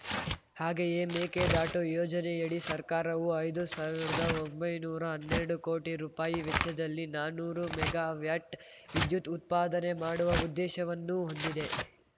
ಹಾಗೆಯೇ ಮೇಕೆದಾಟು ಯೋಜನೆಯಡಿ ಸರ್ಕಾರವು ಐದು ಸಾವಿರ್ದಾ ಒಂಬೈನೂರಾ ಹನ್ನೆರಡು ಕೋಟಿ ರುಪಾಯಿ ವೆಚ್ಚದಲ್ಲಿ ನಾನೂರು ಮೆಗಾ ವ್ಯಾಟ್‌ ವಿದ್ಯುತ್‌ ಉತ್ಪಾದನೆ ಮಾಡುವ ಉದ್ದೇಶವನ್ನೂ ಹೊಂದಿದೆ